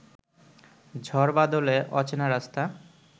ঝড়বাদলে অচেনা রাস্তা